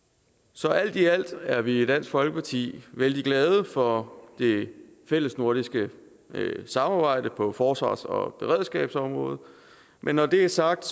så alt i alt er vi i dansk folkeparti vældig glade for det fællesnordiske samarbejde på forsvars og beredskabsområdet men når det er sagt